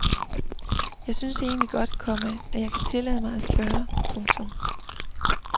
Jeg synes egentlig godt, komma at jeg kan tillade mig at spørge. punktum